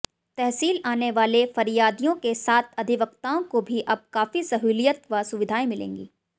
तहसील आने वाले फरियादियों के साथ अधिवक्ताओं को भी अब काफी सहूलियत व सुविधाएं मिलेंगी